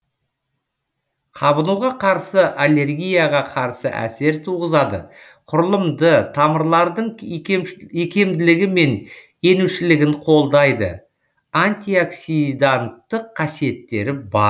қабынуға қарсы аллергияға қарсы әсер туғызады құрылымды тамырлардың икемділігі мен енушілігін қолдайды антиоксиданттық қасиеттері бар